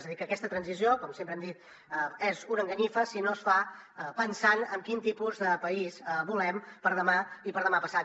és a dir que aquesta transició com sempre hem dit és una enganyifa si no es fa pensant en quin tipus de país volem per a demà i per a demà passat